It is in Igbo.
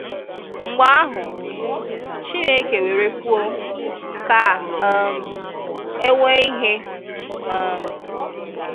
Mgbè ahụ̀, Chinekè wèrè kwùọ̀, “Kà um è nweè ihè. um